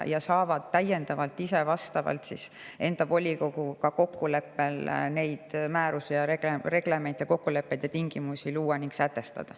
Nad saavad täiendavalt vastavalt kokkuleppele enda volikoguga määrusi ja reglemente ja kokkuleppeid ja tingimusi luua ning sätestada.